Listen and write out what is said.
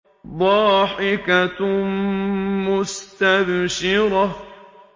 ضَاحِكَةٌ مُّسْتَبْشِرَةٌ